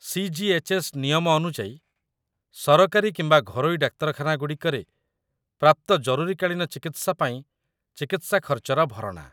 CGHS. ନିୟମ ଅନୁଯାୟୀ ସରକାରୀ କିମ୍ବା ଘରୋଇ ଡାକ୍ତରଖାନାଗୁଡ଼ିକରେ ପ୍ରାପ୍ତ ଜରୁରୀକାଳୀନ ଚିକିତ୍ସା ପାଇଁ ଚିକିତ୍ସା ଖର୍ଚ୍ଚର ଭରଣା ।